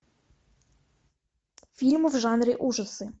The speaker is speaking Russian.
фильм в жанре ужасы